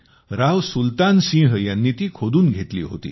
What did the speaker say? राव सुलतान सिंह यांनी ती खोदून घेतली होती